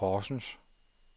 Horsens